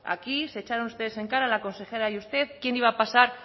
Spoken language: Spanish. aquí se echaron ustedes en cara la consejera y usted quién iba a pasar